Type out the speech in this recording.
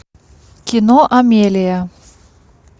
кино амелия